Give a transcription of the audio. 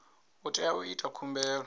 u tea u ita khumbelo